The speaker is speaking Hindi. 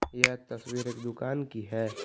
यह तस्वीर एक दुकान की है।